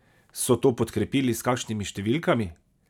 So to podkrepili s kakšnimi številkami?